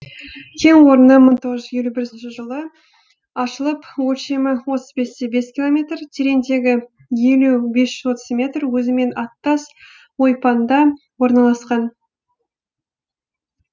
кен орны мың тоғыз жүз елу бірінші жылы ашылып өлшемі отыз бесте бес километр тереңдігі елу бес жүз отыз метр өзімен аттас ойпаңда орналасқан